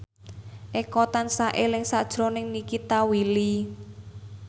Eko tansah eling sakjroning Nikita Willy